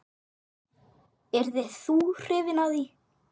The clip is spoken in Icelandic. Yrðir þú hrifinn af því?